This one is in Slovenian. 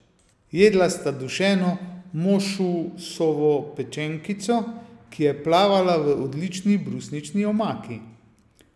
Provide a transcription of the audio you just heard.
Jedla sta dušeno mošusovo pečenkico, ki je plavala v odlični brusnični omaki.